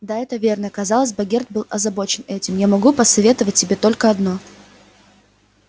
да это верно казалось богерт был озабочен этим я могу посоветовать тебе только одно